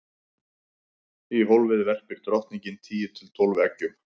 í hólfið verpir drottningin tíu til tólf eggjum